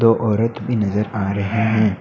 और औरत भी नजर आ रही हैं।